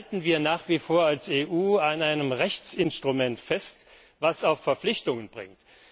Halten wir nach wie vor als EU an einem Rechtsinstrument fest, was auch Verpflichtungen bringt?